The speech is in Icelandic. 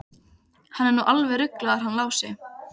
Hann er nú alveg ruglaður hann Lási.